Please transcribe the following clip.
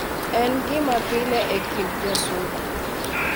En gima pile e kind jo Suba ,.